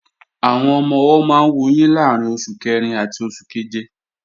Àwọn ọmọ-ọwọ́ máa ń wuyín láàrín oṣù kẹrin àti oṣù keje